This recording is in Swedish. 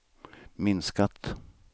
minskat